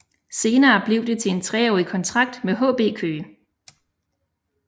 Senere blev det til en treårig kontrakt med HB Køge